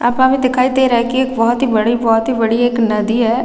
यहाँ पे हमें दिखाई दे रहा है कि एक बहोत ही बड़ी बहोत ही बड़ी एक नदी हैं ।